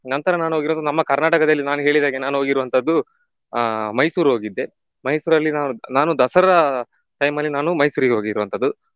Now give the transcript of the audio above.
ನಂತರ ನಾನ್ ಹೋಗಿರೋದು ನಮ್ಮ ಕರ್ನಾಟಕದಲ್ಲಿ ನಾನು ಹೇಳಿದಾಗೆ ನಾನು ಹೋಗಿರುವಂತದ್ದು ಆ ಮೈಸೂರು ಹೋಗಿದ್ದೆ ಮೈಸೂರಲ್ಲಿ ನಾನು ನಾನು ದಸರಾ time ಅಲ್ಲಿ ನಾನು ಮೈಸೂರಿಗೆ ಹೋಗಿರುವಂತದ್ದು.